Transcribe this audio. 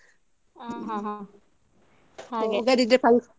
ಹಾ ಹಾ ಹಾಗೆ .